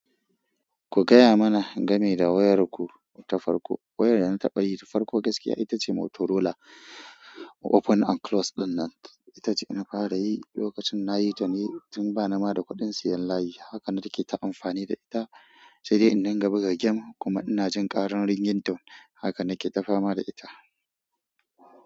Ku gaya mana game da wayarku ta farko? Wayar dana taɓayi ta farko gaskiya itace Motorola Open and Close dinnan. Itace na fara yi lokacin nayi tuni, tun ba ni ma da kuɗin siyan layi. Haka nake ta amfani da ita sai dai indinga buga game kuma ina jin ƙaran ringtone. Haka nake tafama da ita.